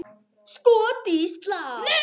Skot í slá!